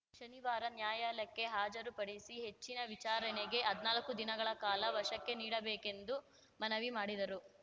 ಶನಿವಾರ ನ್ಯಾಯಾಲಯಕ್ಕೆ ಹಾಜರು ಪಡಿಸಿ ಹೆಚ್ಚಿನ ವಿಚಾರಣೆಗೆ ಹದ್ನಾಲ್ಕು ದಿನಗಳ ಕಾಲ ವಶಕ್ಕೆ ನೀಡಬೇಕೆಂದು ಮನವಿ ಮಾಡಿದರು